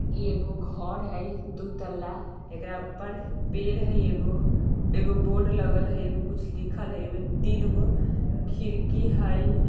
एगो घर हई दू तल्ला एकरा ऊपर पेड़ हई एगो एगो बोर्ड लगल हई आरो कुछ लिखल हई ए में तीन गो खिड़की हई।